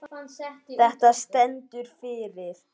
Þetta stendur fyrir